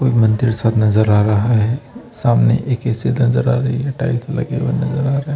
ये मंदिर सा नज़र आ रहा है सामने एक ए_सी नज़र आ रही है टाइल्स लगे हुए नज़र आ रहे--